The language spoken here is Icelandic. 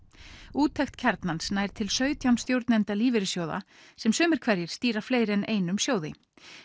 úttekt Kjarnans nær til sautján stjórnenda lífeyrissjóða sem sumir hverjir stýra fleiri en einum sjóði